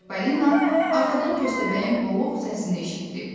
Çipalina arxadan Köstəbəyin boğuq səsini eşitdi.